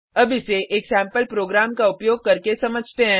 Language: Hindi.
अब इसे एक सेम्पल प्रोग्राम का उपयोग करके समझते हैं